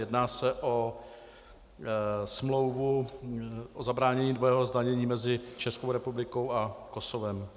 Jedná se o smlouvu o zabránění dvojího zdanění mezi Českou republikou a Kosovem.